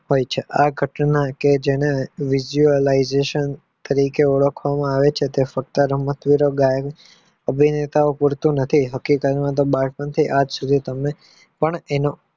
હોય છે આ ઘટના કે જેને તરીકે ઓળખવામાં આવે છે અભિનેતા મળતું નથી બાળપણ થી કે આજ સુધી પણ એને